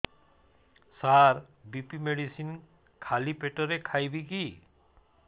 ସାର BP medicine ଖାଲି ପେଟରେ ଖାଇବି କି